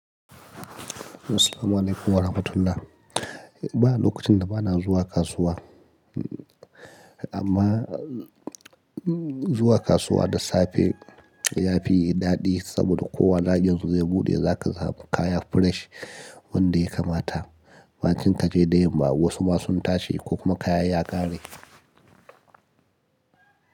Assalamu alaikum warahmatullah. Ba lokacin da ba na zuwa kasuwa, amma zuwa kasuwa da safe yafi daɗi saboda kowa lagen zai buɗe zaka samu kaya fresh wanda ya kamata. Macen kaje dai ba wasu ma sun tashi ko kuma kaya ya ƙare.